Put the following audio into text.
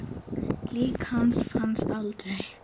Lík hans fannst aldrei.